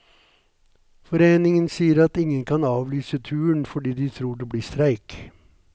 Foreningen sier at ingen kan avlyse turen fordi de tror det blir streik.